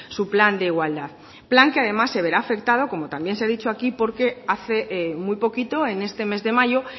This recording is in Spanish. su plan de igualdad plan que además se verá afectado como también se ha dicho aquí porque hace muy poquito en este mes de mayo